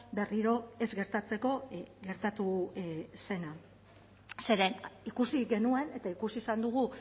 berriro ez gertatzeko gertatu zena zeren ikusi genuen eta ikusi izan dugu